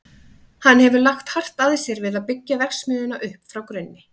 Hann hefur lagt hart að sér við að byggja verksmiðjuna upp frá grunni.